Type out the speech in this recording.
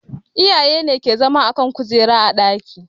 Iyaye ne ke zama a kan kujera a ɗaki